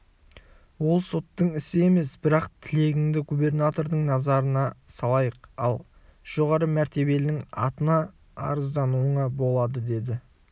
ол соттың ісі емес бірақ тілегіңді губернатордың назарына салайық ал жоғары мәртебелінің атына арыздануыңа болады деді